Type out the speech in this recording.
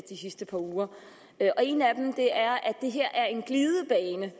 de sidste par uger og en af dem er at det her er en glidebane